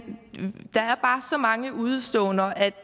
der er bare så mange udeståender at